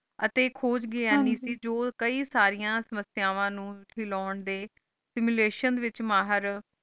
ਅਸੀਂ ਖੂਜ ਗਿਆ ਨਾਈ ਕ ਜੋ ਕਈ ਸਰਿਯਾਂ ਸੰਸ੍ਯ੍ਵਾ ਨੂ ਖਿਲੋੰ ਡੀ ਮਿਲਾਤਿਓਂ ਵਹਿਚ ਮਾਹਰ